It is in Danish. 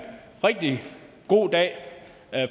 rigtig god dag